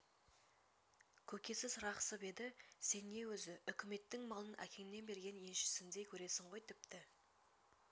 көкесі сырғақсып еді сен не өзі үкіметтің малын әкеңнің берген еншісіндей көресің ғой тіпті